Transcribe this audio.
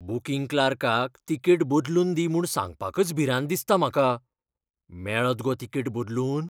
Booking क्लार्काक ticket बदलून दी म्हूण सांगपाकच भिरांत दिसता म्हाका. मेळत गो तिकेट बदलून?